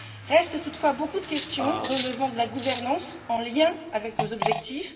Restent toutefois beaucoup de questions relevant de la gouvernance, en lien avec nos objectifs.